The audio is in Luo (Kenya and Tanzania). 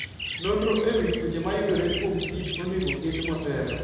Nonro e wi tuoche mayudore kuom kichonego oket motelo.